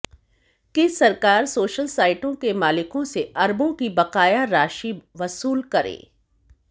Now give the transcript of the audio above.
कि सरकार सोशल साइटों के मालिकों से अरबों की बकाया राशि वसूल करे